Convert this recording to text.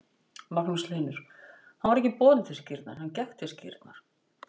Magnús Hlynur: Hann var ekki borinn til skírnar, hann gekk til skírnar?